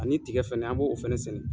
Ani tigɛ fɛnɛ , an b'o fɛnɛ sɛnɛ.